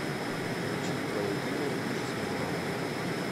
включи твое имя миши смирнова